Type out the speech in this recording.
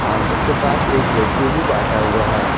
Counter के पास एक व्यक्ति भी बैठा हुआ है।